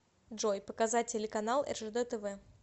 джой показать телеканал ржд тв